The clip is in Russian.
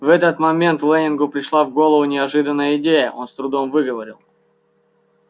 в этот момент лэннингу пришла в голову неожиданная идея он с трудом выговорил